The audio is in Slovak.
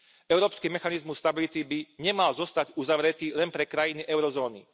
Európsky mechanizmus pre stabilitu by nemal zostať uzavretý len pre krajiny eurozóny.